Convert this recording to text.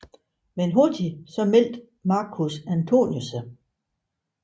Men hurtigt meldte Marcus Antonius sig